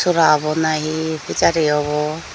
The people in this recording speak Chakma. sora obo nahi fejari obo.